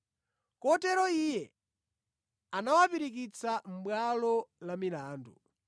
Kotero iye anawapirikitsa mʼbwalo la milandu.